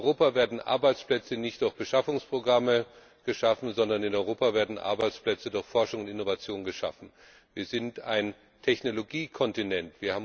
In Europa werden Arbeitsplätze nicht durch Beschaffungsprogramme geschaffen, sondern in Europa werden Arbeitsplätze durch Forschung und Innovation geschaffen. Wir sind ein Technologiekontinent.